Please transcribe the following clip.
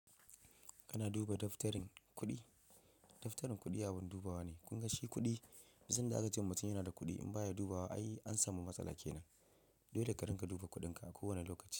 Kana duba daftarin kuɗi? Daftarin kuɗi abin dubawa ne. Kun ga shi kuɗi, duk sanda aka ce mutum yana da kuɗi in ba ya dubawa ai an samu matsala kenan. Dole ka ringa duba kuɗinka a kowane lokaci.